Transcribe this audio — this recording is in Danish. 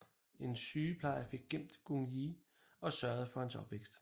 En sygeplejer fik gemt Gung Ye og sørgede for hans opvækst